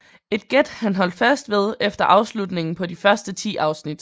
Et gæt han holdt fast ved efter afslutningen på de første ti afsnit